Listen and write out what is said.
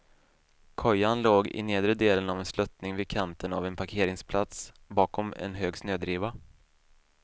Kojan låg i nedre delen av en sluttning vid kanten av en parkeringsplats, bakom en hög snödriva.